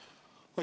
Palun!